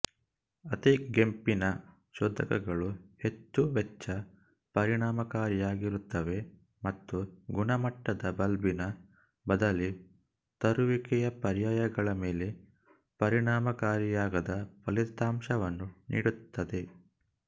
ಅತಿಗೆಂಪಿನ ಶೋಧಕಗಳು ಹೆಚ್ಚು ವೆಚ್ಚ ಪರಿಣಾಮಕಾರಿಯಾಗಿರುತ್ತವೆ ಮತ್ತು ಗುಣಮಟ್ಟದ ಬಲ್ಬಿನ ಬದಲಿ ತರುವಿಕೆಯ ಪರ್ಯಾಯಗಳ ಮೇಲೆ ಪರಿಣಾಮಕಾರಿಯಾದ ಫಲಿತಾಂಶವನ್ನು ನೀಡುತ್ತದೆ